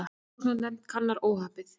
Rannsóknarnefnd kannar óhappið